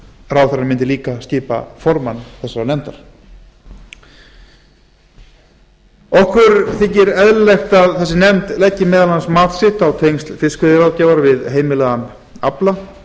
ráðherrann mundi líka skipa formann nefndarinnar okkur þykir eðlilegt að nefndin leggi meðal annars mat sitt á tengsl fiskveiðiráðgjafar við heimilaðan afla